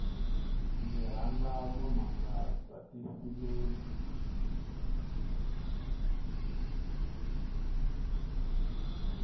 ndzi rhandza vunanga bya tifilimi